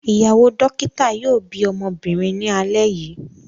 Ìyàwó dókítà yóò bí ọmọbìnrin ní alẹ́ yìí.